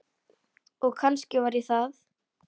Og kannski var ég það.